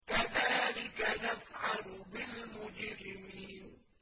كَذَٰلِكَ نَفْعَلُ بِالْمُجْرِمِينَ